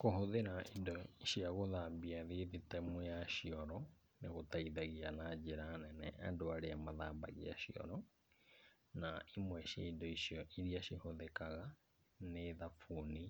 Kũhũthĩra indo cia gũthambia thithitemu ya cioro, nĩ gũteithagia na njĩra nene andũ arĩa mathambagia cioro, na imwe cia indo icio iria cihũthikaga, nĩ thabuni